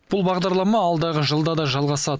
бұл бағдарлама алдағы жылда да жалғасады